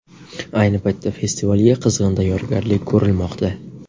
Ayni paytda festivalga qizg‘in tayyorgarlik ko‘rilmoqda.